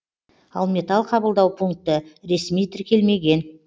ал металл қабылдау пункті ресми тіркелмеген